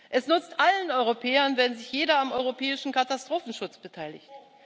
Es nützt allen Europäern, wenn sich jeder am europäischen Katastrophenschutz beteiligt.